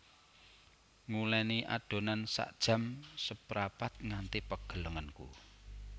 Nguleni adonan sak jam seprapat nganti pegel lengenku